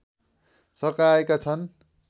सकाएका छन्